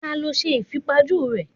Ta ló ṣe ìfipajú rèé?